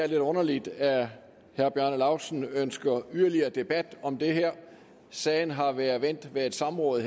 lidt underligt at herre bjarne laustsen ønsker yderligere debat om det her sagen har været vendt ved et samråd